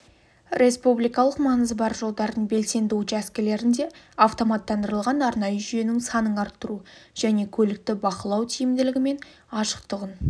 республикалық маңызы бар жолдардыңбелсенді учаскелерінде автоматтандырылған арнайы жүйенің санын арттыру және көлікті бақылау тиімділігі мен ашықтығын